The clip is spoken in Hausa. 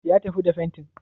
Ya tafi da fentin?